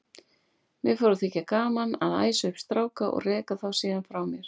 Mér fór að þykja gaman að æsa upp stráka og reka þá síðan frá mér.